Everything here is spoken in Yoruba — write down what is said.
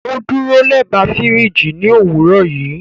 O duro lẹba firiji ni owurọ yii